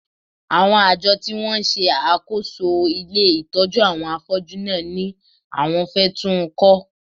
Àwọn àjọ tí wọ́n ń ṣe àkóso ilé ìtọ́jú àwọn afọ́jú náà ni àwọn fẹ́ tún ń kọ́